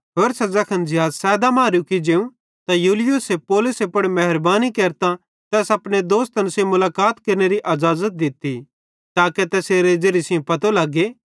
होरसां ज़ैखन ज़िहाज़ सैदा मां रुकी जेवं त यूलियुसे पौलुसे पुड़ मेहरबानी केरतां तैस अपने दोस्तन सेइं मुलाकात केरनेरी अज़ाज़त दित्ती ताके तैसेरे ज़िरिये सेइं पतो लग्गे